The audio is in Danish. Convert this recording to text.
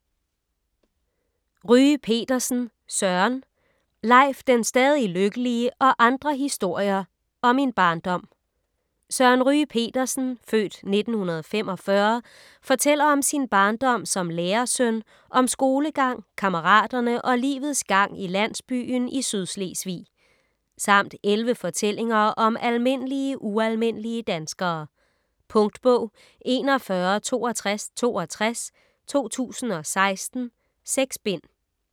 Ryge Petersen, Søren: Leif den stadig lykkelige og andre historier og Min barndom Søren Ryge Petersen (f. 1945) fortæller om sin barndom som lærersøn, om skolegang, kammeraterne og livets gang i landsbyen i Sydslesvig. Samt 11 fortællinger om almindelige ualmindelige danskere. Punktbog 416262 2016. 6 bind.